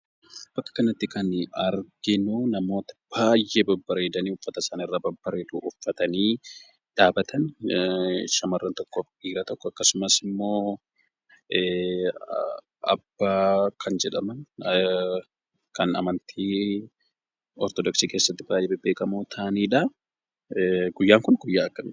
Bakka kanatti kan arginuu namoota baay'ee babbareedanii uffata isaanirraa babbareedu uffatanii dhaabatan, shamarran tokkoo fi dhiira tokko akkasumas immoo abbaa kan jedhaman kan amantii ortodoksii keessatti baay'ee bebbeekamoo ta'aniidha. Guyyaan kun guyyaa akkamiiti?